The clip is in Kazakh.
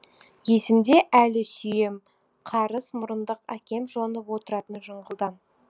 есімде әлі сүйем қарыс мұрындық әкем жонып отыратын жыңғылдан